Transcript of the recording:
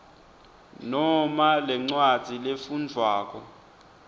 noma lencwadzi lefundvwako